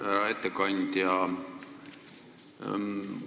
Härra ettekandja!